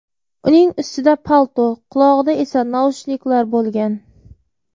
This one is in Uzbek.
Uning ustida palto, qulog‘ida esa naushniklar bo‘lgan.